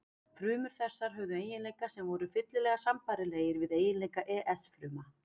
Frumur þessar höfðu eiginleika sem voru fyllilega sambærilegir við eiginleika ES fruma.